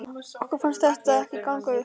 Okkur fannst þetta ekki ganga upp.